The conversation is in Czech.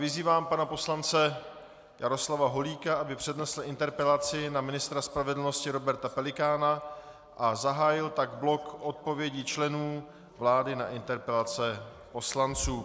Vyzývám pana poslance Jaroslava Holíka, aby přednesl interpelaci na ministra spravedlnosti Roberta Pelikána a zahájil tak blok odpovědí členů vlády na interpelace poslanců.